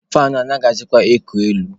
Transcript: Faanụ a anaghịzịkwa eku elu.